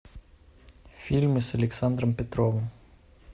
фильмы с александром петровым